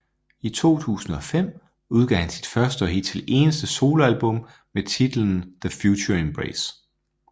I 2005 udgav han sit første og hidtil eneste soloalbum med titlen TheFutureEmbrace